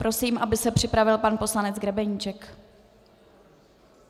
Prosím, aby se připravil pan poslanec Grebeníček.